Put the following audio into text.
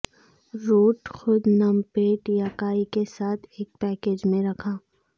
route خود نم peat یا کائی کے ساتھ ایک پیکیج میں رکھا